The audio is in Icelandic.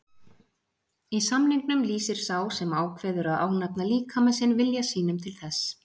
Í samningnum lýsir sá sem ákveður að ánafna líkama sinn vilja sínum til þess.